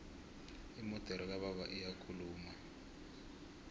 imodere kababa iyakhuluma